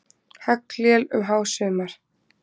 Haglél um hásumar.